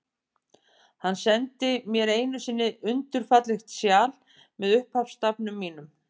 Hann sendi mér einu sinni undur fallegt sjal, með upphafsstafnum mínum.